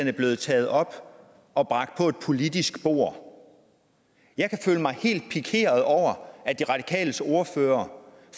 var blevet taget op og bragt på et politisk bord jeg kan føle mig helt pikeret over at de radikales ordfører